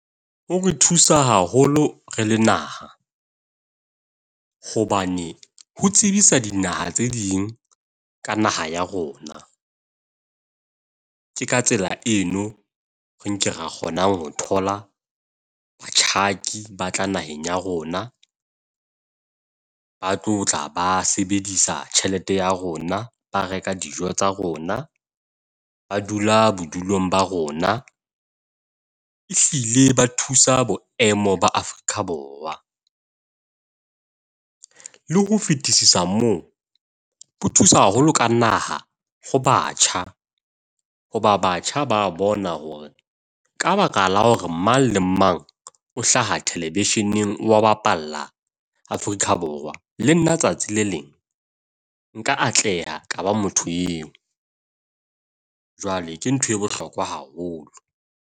O re thusa haholo re le naha hobane oo tsebisa dinaha tse ding ka naha ya rona, ke ka tsela eno re nke re kgonang ho thola batjhaki ba tla naheng ya rona, ba tlotla ba sebedisa tjhelete ya rona. Ba reka dijo tsa rona. Ba dula bodulong ba rona ehlile ba thusa boemo ba Afrika Borwa. Le ho fetisisa moo ho thusa haholo ka naha ho batjha, hoba batjha ba bona hore ka baka la hore mang le mang o hlaha television-eng wa bapalla Afrika Borwa, le nna tsatsi le leng nka atleha ka ba motho eo. Jwale ke ntho e bohlokwa haholo.